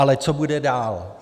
Ale co bude dál?